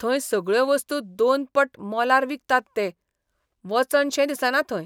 थंय सगळ्यो वस्तू दोनपट मोलार विकतात ते. वचनशेंच दिसना थंय.